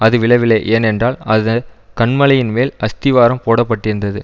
அது விழவில்லை ஏன்னென்றால் அது கன்மலையின்மேல் அஸ்திவாரம் போட பட்டிருந்தது